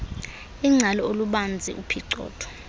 ingcali olubanzi uphicotho